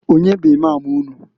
Onye bụ Imam unu?